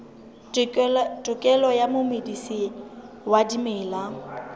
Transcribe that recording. tokelo ya momedisi wa dimela